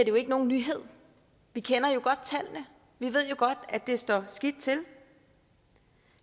jo ikke nogen nyhed vi kender godt tallene vi ved jo godt at det står skidt til